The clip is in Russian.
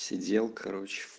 сиделка